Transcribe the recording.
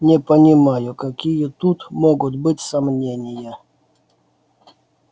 не понимаю какие тут могут быть сомнения